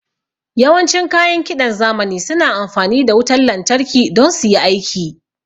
Yawan cin kayan kiɗan zamani suna amfani da wutan lantarki don suyi aiki